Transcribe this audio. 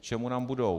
K čemu nám budou?